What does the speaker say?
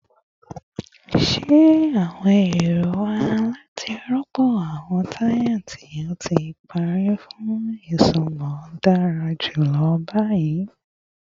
Ṣe awọn ero wa lati rọpo awọn taya ti o ti pari fun isunmọ dara julọ bi?